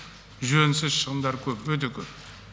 жөнсіз шығындар көп өте көп